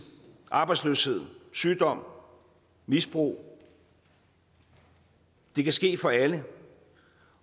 arbejdsløshed sygdom misbrug det kan ske for alle